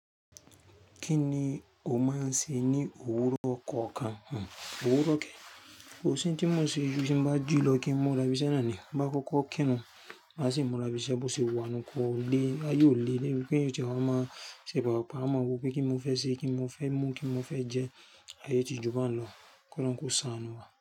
Kí ni o máa ń ṣe ní òwúrọ̀ kọ̀ọ̀kan? Hm, òwúrọ̀ kè, kò sí ohun tí mò ń ṣe ju tí mo bá jí lọ, kí n múra bí iṣẹ́ náà ni. Bí bá kókó kírùn, máa sì múra lo sí ibi iṣẹ́, bó ṣe wà nù, kò lè, ayé ò lé dé bípé máa ṣe pàápàá máa mọ pé kí n mọ fẹ́ ṣe, kí n mọ fẹ́ mú, kí n mọ fẹ́ jẹ, ayé tí jù bá ń lọ kí olórun kó ṣàánú wá.